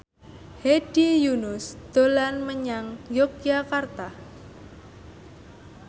Hedi Yunus dolan menyang Yogyakarta